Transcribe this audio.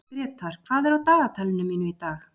Grétar, hvað er á dagatalinu mínu í dag?